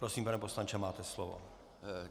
Prosím, pane poslanče, máte slovo.